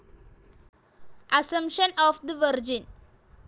assumption of the virgin,